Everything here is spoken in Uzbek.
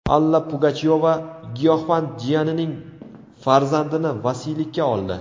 Alla Pugachyova giyohvand jiyanining farzandini vasiylikka oldi.